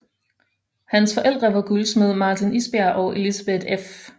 Hans forældre var guldsmed Martin Isberg og Elisabeth f